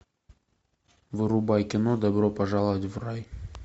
врубай кино добро пожаловать в рай